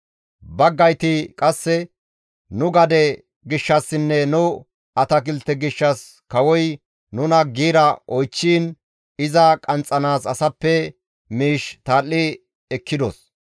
Baggayti qasseka, «Nu gade gishshassinne nu atakilte gishshas kawoy nuna giira oychchiin iza qanxxanaas asappe miish tal7i ekkidos;